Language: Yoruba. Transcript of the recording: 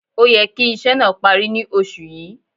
Ó yẹ kí iṣẹ́ náà parí ní Oṣù yìí